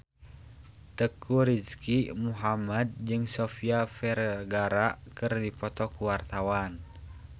Teuku Rizky Muhammad jeung Sofia Vergara keur dipoto ku wartawan